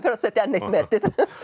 að setja enn eitt metið